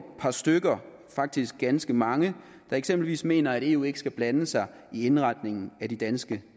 par stykker faktisk ganske mange der eksempelvis mener at eu ikke skal blande sig i indretningen af de danske